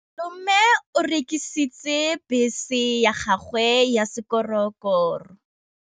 Malome o rekisitse bese ya gagwe ya sekgorokgoro.